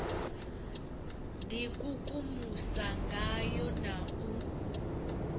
d ikukumusa ngayo na u